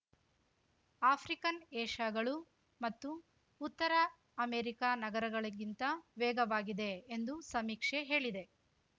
African ಏಶ್ಯಾಗಳು ಮತ್ತು ಉತ್ತರ ಅಮೆರಿಕ ನಗರಗಳಿಗಿಂತ ವೇಗವಾಗಿದೆ ಎಂದು ಸಮೀಕ್ಷೆ ಹೇಳಿದೆ